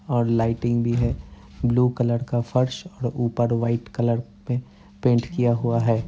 और लाइटिंग भी है। ब्लू कलर का फर्श और ऊपर व्हाइट कलर पे पेंट किया हुआ है।